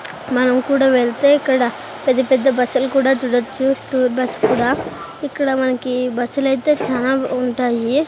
మనం కూడా వెళ్తే ఇక్కడ పెద్ద పెద్ద బస్సులు కూడా చూడొచ్చు స్టూర్ బస్ కూడా ఇక్కడ మన్కీ బస్సులైతే చానా ఉంటాయి.